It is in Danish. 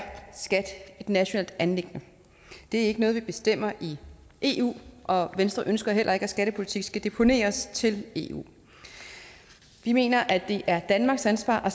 skat et nationalt anliggende det er ikke noget man bestemmer i eu og venstre ønsker heller ikke at skattepolitik skal deponeres til eu vi mener at det er danmarks ansvar